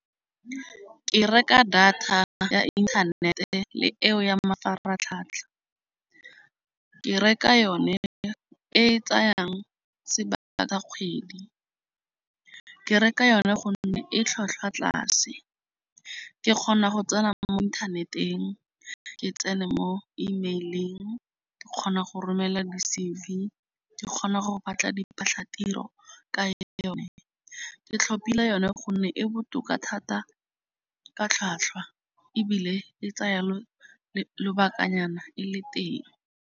Ke reka data ya inthanete le eo ya mafaratlhatlha. Ke reka yone e e tsayang sebaka sa kgwedi. Ke reka yone gonne e tlhwatlhwa tlase. Ke kgona go tsena mo inthaneteng, ke tsene mo email-ing, ke kgona go romela di-C_V, ke kgona go batla diphatlhatiro ka yone. Ke tlhopile yone gonne e botoka thata ka tlhwatlhwa ebile e tsaya le lobakanyana e le teng.